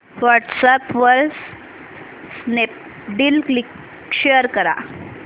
WhatsApp वर Snapdeal link share कर